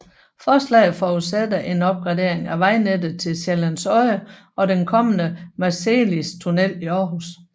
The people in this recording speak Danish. Forslaget forudsætter en opgradering af vejnettet til Sjællands Odde og den kommende Marselistunnel i Aarhus